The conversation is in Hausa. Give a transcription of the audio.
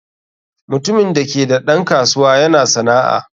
Mutumin da ke da ɗan kasuwa yana sana'a.